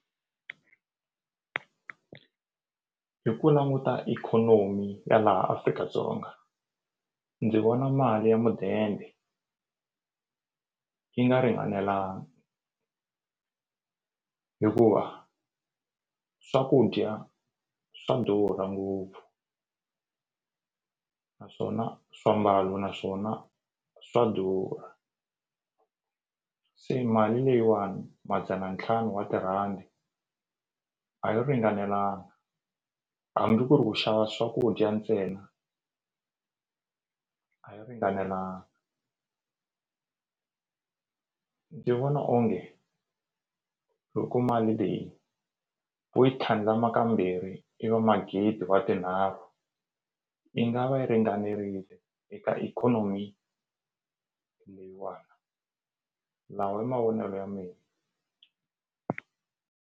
Hi ku languta ikhonomi ya laha Afrika-Dzonga ndzi vona mali ya mudende yi nga ringanelangi hikuva swakudya swa durha ngopfu naswona swiambalo naswona swa durha se mali leyiwani madzana ntlhanu wa tirhandi a yi ringanelanga hambi ku ri u xava swakudya ntsena a yi ringanelanga ndzi vona onge loko mali leyi u yi tlhandlama kambirhi i va magidi wa tinharhu yi nga va yi ringanerile eka ikhonomi leyiwani lawa i mavonelo ya mina.